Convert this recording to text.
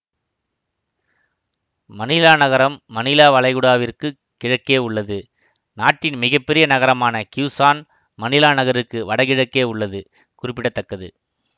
மணிலா நகரம் மணிலா வளைகுடாவிற்குக் கிழக்கே உள்ளது நாட்டின் மிக பெரிய நகரமான கியூசான் மணிலா நகருக்கு வடகிழக்கே உள்ளது குறிப்பிட தக்கது